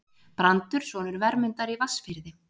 Brandur sonur Vermundar í Vatnsfirði.